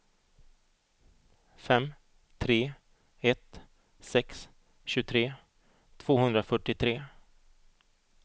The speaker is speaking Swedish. fem tre ett sex tjugotre tvåhundrafyrtiotre